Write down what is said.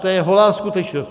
To je holá skutečnost.